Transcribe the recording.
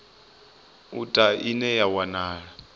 u ta ine ya wanala